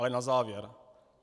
Ale na závěr.